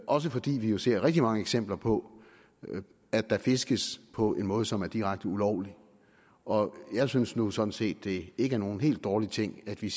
også fordi vi jo ser rigtig mange eksempler på at der fiskes på en måde som er direkte ulovlig og jeg synes nu sådan set at det ikke er nogen helt dårlig ting at vi